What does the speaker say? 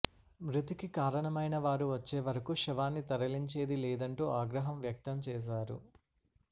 మృతికి కారణమైనవారు వచ్చే వరకు శవాన్ని తరలించేది లేదంటూ ఆగ్రహం వ్యక్తం చేశారు